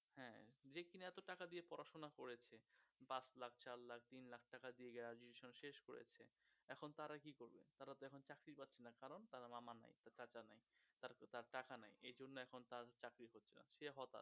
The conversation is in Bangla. হ্যাঁ, যে কিনা এত টাকা দিয়ে পড়াশোনা করেছে, পাঁচ লাখ, চার লাখ, তিন লাখ টাকা দিয়ে graduation শেষ করেছে, এখন তারা কি করবে, তারা তো এখন চাকরী পাচ্ছে না কারণ তারার মামা নাই, চাচা নাই, তারপর তার টাকা নাই, এজন্য এখন তার চাকরী হচ্ছে না, সে হতাশ।